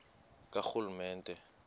karhulumente